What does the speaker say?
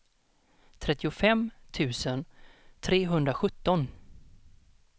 trettiofem tusen trehundrasjutton